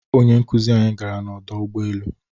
Onye nkuzi anyi gara n'ọdọ ụgbọelu